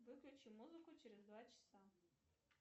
выключи музыку через два часа